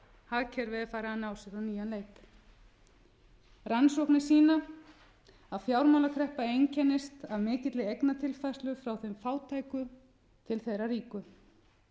farið að ná sér á nýjan leik rannsóknir sýna að fjármálakreppa einkennist af mikilli eignatilfærslu frá þeim fátæku til þeirra ríku